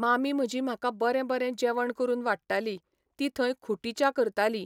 मामी म्हजी म्हाका बरें बरें जेवण करून वाडटाली ती थंय खुटी च्या करताली